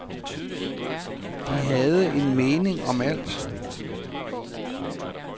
De havde en mening om alt.